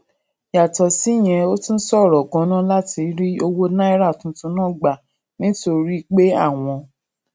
yàtò síyẹn ó tún ṣòro ganan láti rí owó naira tuntun náà gbà nítorí gbà nítorí pé àwọn